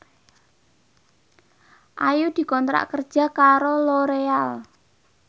Ayu dikontrak kerja karo Loreal